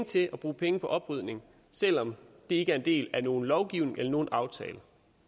til at bruge penge på oprydning selv om det ikke er en del af nogen lovgivning eller nogen aftale